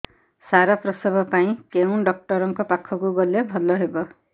ସାର ପ୍ରସବ ପାଇଁ କେଉଁ ଡକ୍ଟର ଙ୍କ ପାଖକୁ ଗଲେ ଭଲ ହେବ